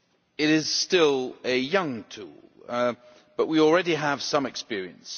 It is still a young tool, but we already have some experience.